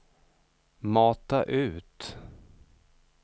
mata ut